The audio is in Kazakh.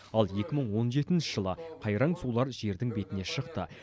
ал екі мың он жетінші жылы қайраң сулар жердің бетіне шықты